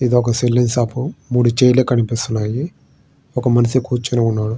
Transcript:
ఇది ఒక salon shop మూడు చైర్లు కనిపిస్తున్నాయి ఒక మనిషి కనిపిస్తున్నాడు.